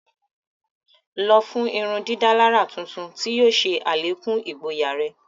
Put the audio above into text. Lọ fun ìrundidàlarà tuntun tí yóò ṣe alekun igboya rẹ!